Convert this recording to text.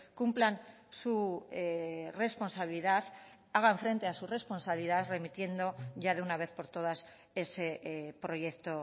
cumplan su responsabilidad hagan frente a su responsabilidad remitiendo ya de una vez por todas ese proyecto